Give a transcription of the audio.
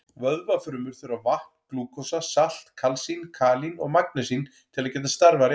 Vöðvafrumur þurfa vatn, glúkósa, salt, kalsín, kalín og magnesín til að geta starfað rétt.